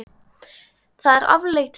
Það er afleit staða.